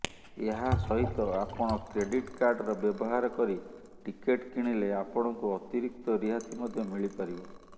ଏହା ସହିତ ଆପଣ କ୍ରେଡିଟ୍ କାର୍ଡର ବ୍ୟବହାର କରି ଟିକେଟ୍ କିଣିଲେ ଆପଣଙ୍କୁ ଅତିରିକ୍ତ ରିହାତି ମଧ୍ୟ ମିଳିପାରିବ